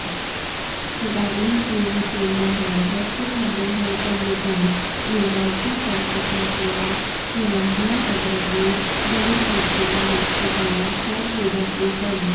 तदानीं जीर्णशीर्णैः वस्त्रखण्डैः कन्दुकं निर्मान्ति स्म तथैकया प्रलम्बयाऽग्रतो वलितमुखया यष्टिकया च क्रीडन्ति स्म